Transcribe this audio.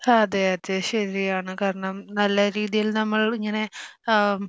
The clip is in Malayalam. അതെ അതെ ശരിയാണ് കാരണം നല്ല രീതിയിൽ നമ്മളിങ്ങനെ ഏഹ്